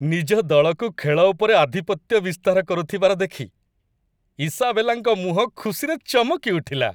ନିଜ ଦଳକୁ ଖେଳ ଉପରେ ଆଧିପତ୍ୟ ବିସ୍ତାର କରୁଥିବାର ଦେଖି ଇସାବେଲାଙ୍କ ମୁହଁ ଖୁସିରେ ଚମକି ଉଠିଲା।